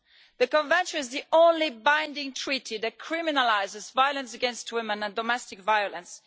The Convention is the only binding treaty that criminalises violence against women and domestic violence.